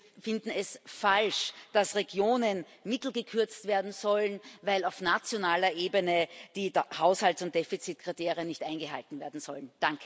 Wir finden es falsch, dass Regionen Mittel gekürzt werden sollen, weil auf nationaler Ebene die Haushalts und Defizitkriterien nicht eingehalten werden sollen.